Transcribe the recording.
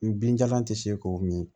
N binjalan tɛ se k'o min